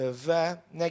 Və nə gizlədim?